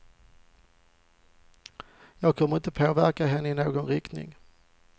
Jag kommer inte att påverka henne i någon riktning.